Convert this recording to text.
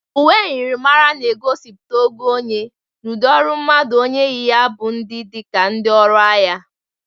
Uwe myirimara na egosikwa ogo onye n' udị ọrụ mmadụ onye yi ya bụ dị ka ndị ọrụ agha.